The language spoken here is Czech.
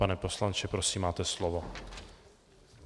Pane poslanče, prosím, máte slovo.